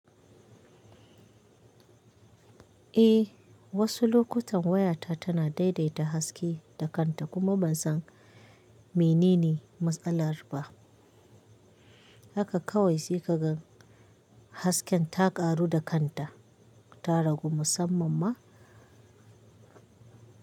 Eh, wasu lokutan wayata tana daidaita haske da kanta kuma ban san menene matsalar ba. Haka kawai sai ka gan hasken ta karu da kanta ta rago musamman ma.